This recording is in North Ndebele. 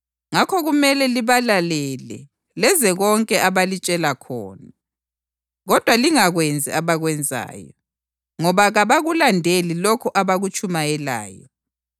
Ngakho kumele libalalele lenze konke abalitshela khona. Kodwa lingakwenzi abakwenzayo, ngoba kabakulandeli lokho abakutshumayelayo.